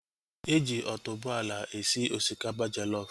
Eji otuboala esi osikapa jollof